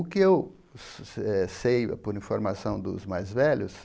O que eu se eh sei, por informação dos mais velhos,